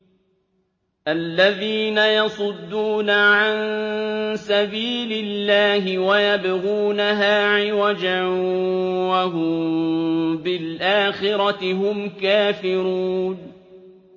الَّذِينَ يَصُدُّونَ عَن سَبِيلِ اللَّهِ وَيَبْغُونَهَا عِوَجًا وَهُم بِالْآخِرَةِ هُمْ كَافِرُونَ